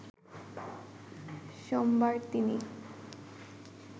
সোমবার তিনি